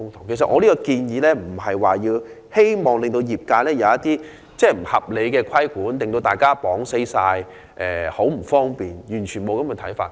其實，我的建議並非希望令業界受到不合理規管，造成不便，我完全沒有這種想法。